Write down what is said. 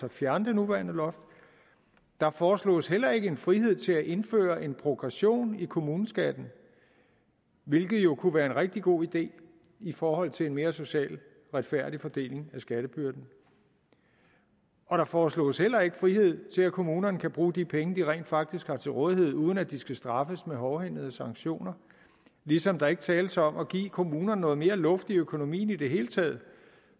at fjerne det nuværende loft der foreslås heller ikke en frihed til at indføre en progression i kommuneskatten hvilket jo kunne være en rigtig god idé i forhold til en mere social retfærdig fordeling af skattebyrden og der foreslås heller ikke frihed til at kommunerne kan bruge de penge de rent faktisk har til rådighed uden at de skal straffes med hårdhændede sanktioner ligesom der ikke tales om at give kommunerne noget mere luft i økonomien i det hele taget